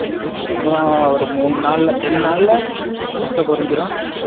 அப்ரம் ஒரு மூனு நால ரெண்டு நால முட்டை பொரின்சிரும்